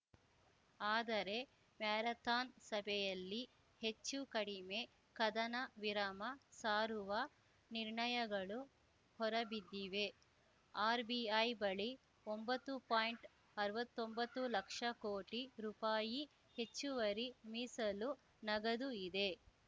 ಆದರೆ ಮ್ಯಾರಥಾನ್‌ ಸಭೆಯಲ್ಲಿ ಹೆಚ್ಚೂ ಕಡಿಮೆ ಕದನವಿರಾಮ ಸಾರುವ ನಿರ್ಣಯಗಳು ಹೊರಬಿದ್ದಿವೆ ಆರ್‌ಬಿಐ ಬಳಿ ಒಂಬತ್ತು ಪಾಯಿಂಟ್ಅರ್ವತ್ತೊಂಬತ್ತು ಲಕ್ಷ ಕೋಟಿ ರುಪಾಯಿ ಹೆಚ್ಚುವರಿ ಮೀಸಲು ನಗದು ಇದೆ